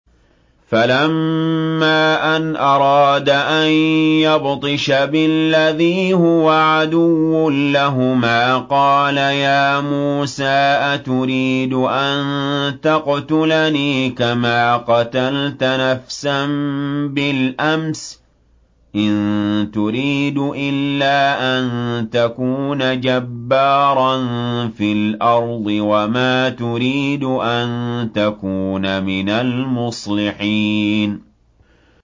فَلَمَّا أَنْ أَرَادَ أَن يَبْطِشَ بِالَّذِي هُوَ عَدُوٌّ لَّهُمَا قَالَ يَا مُوسَىٰ أَتُرِيدُ أَن تَقْتُلَنِي كَمَا قَتَلْتَ نَفْسًا بِالْأَمْسِ ۖ إِن تُرِيدُ إِلَّا أَن تَكُونَ جَبَّارًا فِي الْأَرْضِ وَمَا تُرِيدُ أَن تَكُونَ مِنَ الْمُصْلِحِينَ